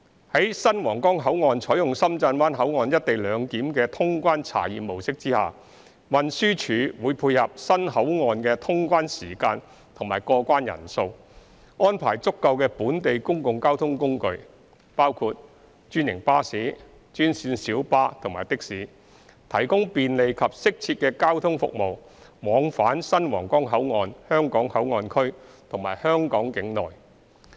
在新皇崗口岸採用深圳灣口岸"一地兩檢"的通關查驗模式下，運輸署會配合新口岸的通關時間及過關人數，安排足夠的本地公共交通工具，包括專營巴士、專線小巴和的士，提供便利及適切的交通服務往返新皇崗口岸香港口岸區和香港境內。